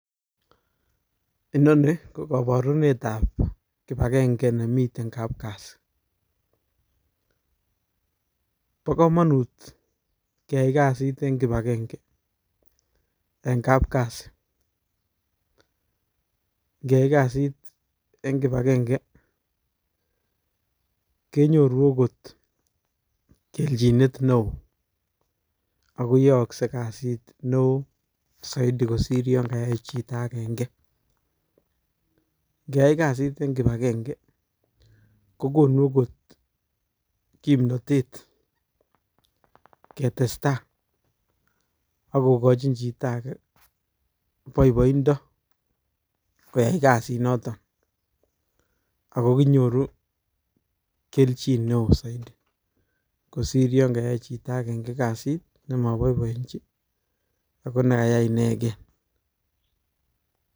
Inonii ko koborunetab kibakeng'e nemiten kapkasi, bokomonut keyai kasit en kibakeng'e en kapkasi, ng'eyai kasit kenyoru okot kelchinet neoo ak koyookse kora kasit neoo saiti kosir yoon kayai chito akeng'e, ing'eyai kasit en kibakeng'e kokonu okot kimnotet ketesta ak kokochin chito akee boiboindo koyai kasiniton akoo kinyoru kelchin neoo saiti kosir yoon kayai chito akeng'e kasit nemoboiboenchi ak ko nekayai ineken.